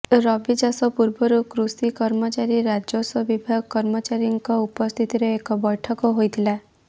ରବି ଚାଷ ପୂର୍ବରୁ କୃଷି କର୍ମଚାରୀ ରାଜସ୍ୱ ବିଭାଗ କର୍ମଚାରୀଙ୍କ ଉପସ୍ଥିତିରେ ଏକ ବୈଠକ ହୋଇଥିଲା